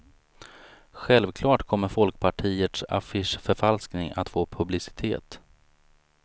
Självklart kommer folkpartiets affischförfalskning att få publicitet.